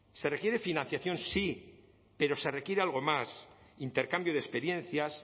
se requiere financiación sí pero se requiere algo más intercambio de experiencias